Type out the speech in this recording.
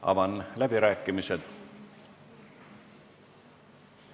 Avan läbirääkimised.